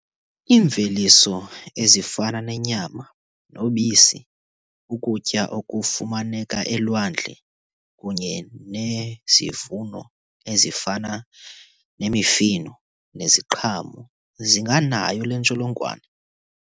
Iimveliso ezifana nenyama nobisi, ukutya okufumaneka elwandle kunye nezivuno ezifana nemifuno neziqhamo zinganayo le ntsholongwane.